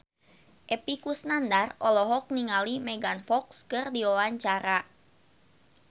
Epy Kusnandar olohok ningali Megan Fox keur diwawancara